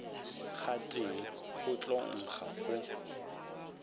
gotee go tla nkga go